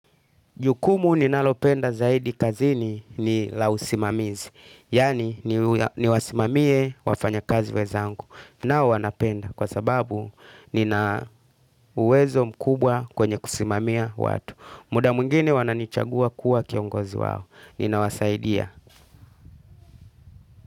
Jukumu ninalopenda zaidi kazini ni la usimamizi. Yaani niwasimamie wafanya kazi wenzangu. Nao wanapenda kwa sababu nina uwezo mkubwa kwenye kusimamia watu. Muda mwingine wananichagua kuwa kiongozi wao. Ninawasaidia.